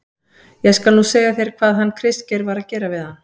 ÉG SKAL NÚ SEGJA ÞÉR HVAÐ HANN KRISTGEIR VAR AÐ GERA VIÐ HANN.